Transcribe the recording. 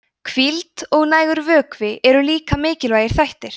hvíld og nægur vökvi eru líka mikilvægir þættir